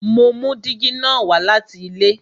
Mo mú dígí na wá láti ilé